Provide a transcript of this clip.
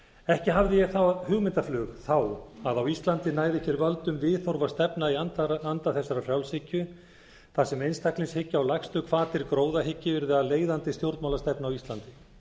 ekki hafði ég hugmyndaflug þá að á íslandi næði völdum viðhorf og stefna í anda þessarar frjálshyggju þar sem einstaklingshyggja og lægstu hvatir gróðahyggju urðu að leiðandi stjórnmálastefnu á íslandi